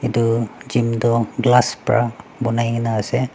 Etu gym tuh glass pra banaikena ase.